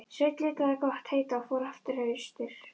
Sveinn lét það gott heita og fór aftur austur.